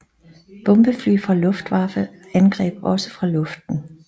Bomberfly fra Luftwaffe angreb også fra luften